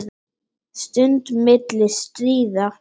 Stund milli stríða.